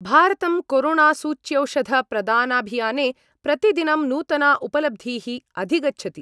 भारतं कोरोणासूच्यौषधप्रदानाभियाने प्रतिदिनं नूतना उपलब्धीः अधिगच्छति।